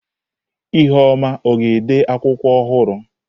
ihuoma ọ ga-ede akwụkwọ ọhụrụ?